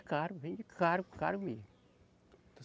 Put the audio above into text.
É caro, vende caro, caro mesmo.